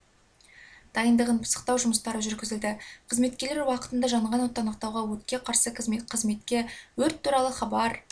дайындығын пысықтау жұмыстары жүргізілді қызметкерлер уақытында жанған отты анықтауға өртке қарсы қызметке өрт туралы хабар